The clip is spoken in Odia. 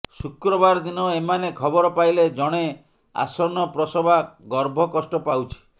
ଶୁକ୍ରବାର ଦିନ ଏମାନେ ଖବର ପାଇଲେ ଜଣେ ଆସନ୍ନ ପ୍ରସବା ଗର୍ଭ କଷ୍ଟ ପାଉଛି